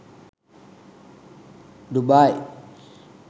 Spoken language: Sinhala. dubai